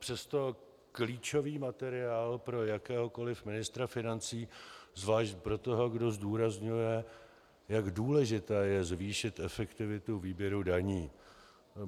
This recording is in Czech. Přesto klíčový materiál pro jakéhokoliv ministra financí, zvlášť pro toho, kdo zdůrazňuje, jak důležité je zvýšit efektivitu výběru daní.